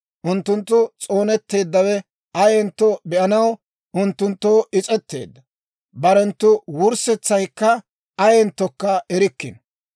Unttunttu s'oonetteeddawe ayaanentto be'anaw unttunttoo is's'etteedda; barenttu wurssetsaykka ayenttokka erikkino.